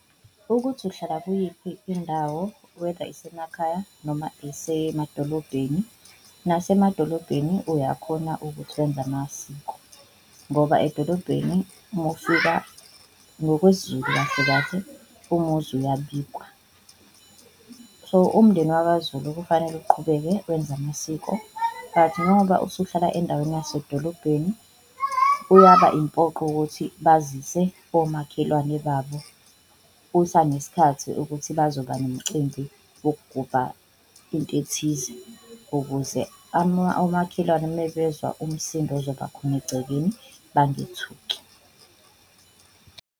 Ukuthi uhlala kuyiphi indawo whether isemakhaya noma isemadolobheni, nasemadolobheni uyakhona ukuthi wenze amasiko ngoba edolobheni uma ufika, ngokwesiZulu kahle kahle umuzi uyabikwa. So, umndeni wakaZulu kufanele uqhubeke wenze amasiko but ngoba usuhlala endaweni yasedolobheni kuyaba impoqo ukuthi bazise omakhelwane babo kusanesikhathi ukuthi bazoba nomcimbi wokugubha into ethize. Ukuze omakhelwane uma bezwa umsindo ozoba khona egcekeni bangethuki.